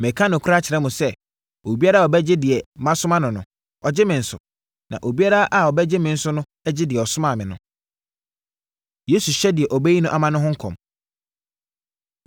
Mereka nokorɛ akyerɛ mo sɛ, obiara a ɔbɛgye deɛ masoma no no, ɔgye me nso, na obiara a ɔgye me no nso gye deɛ ɔsomaa me no.” Yesu Hyɛ Deɛ Ɔbɛyi No Ama Ho Nkɔm